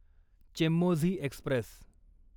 Chemmozhi Express